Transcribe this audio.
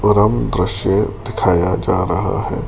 परम दृश्य दिखाया जा रहा है।